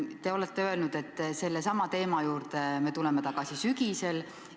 Te olete öelnud, et sellesama teema juurde tuleme tagasi sügisel.